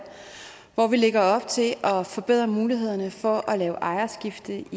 hvor vi lægger op til at forbedre mulighederne for at lave ejerskifte